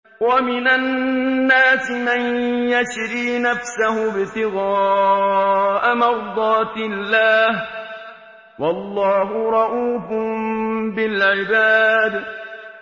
وَمِنَ النَّاسِ مَن يَشْرِي نَفْسَهُ ابْتِغَاءَ مَرْضَاتِ اللَّهِ ۗ وَاللَّهُ رَءُوفٌ بِالْعِبَادِ